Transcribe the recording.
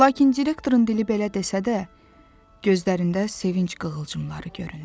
Lakin direktorun dili belə desə də, gözlərində sevinc qığılcımları göründü.